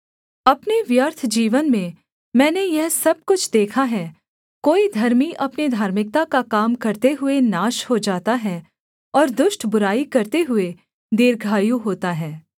अपने व्यर्थ जीवन में मैंने यह सब कुछ देखा है कोई धर्मी अपने धार्मिकता का काम करते हुए नाश हो जाता है और दुष्ट बुराई करते हुए दीर्घायु होता है